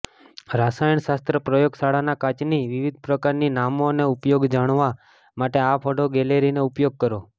રસાયણશાસ્ત્ર પ્રયોગશાળાના કાચની વિવિધ પ્રકારની નામો અને ઉપયોગો જાણવા માટે આ ફોટો ગેલેરીનો ઉપયોગ કરો